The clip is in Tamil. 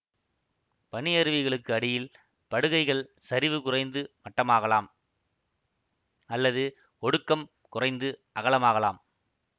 பனியருவிகளுக்கு அடியில் படுகைகள் சரிவு குறைந்து மட்டமாகலாம் அல்லது ஒடுக்கம் குறைந்து அகலமாகலாம்